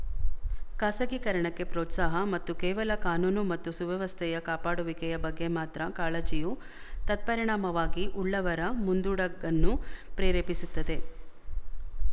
ಖಾಸಗೀಕರಣಕ್ಕೆ ಪ್ರೋತ್ಸಾಹ ಮತ್ತು ಕೇವಲ ಕಾನೂನು ಮತ್ತು ಸುವ್ಯಸ್ಥೆಯ ಕಾಪಾಡುವಿಕೆಯ ಬಗ್ಗೆ ಮಾತ್ರ ಕಾಳಜಿಯು ತತ್ಪರಿಣಾಮವಾಗಿ ಉಳ್ಳವರ ಮುಂದೊಡಗನ್ನು ಪ್ರೇರೇಪಿಸುತ್ತದೆ